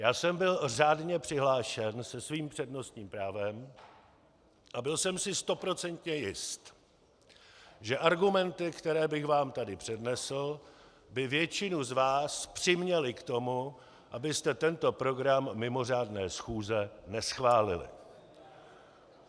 Já jsem byl řádně přihlášen se svým přednostním právem a byl jsem si stoprocentně jist, že argumenty, které bych vám tady přednesl, by většinu z vás přiměly k tomu, abyste tento program mimořádné schůze neschválili.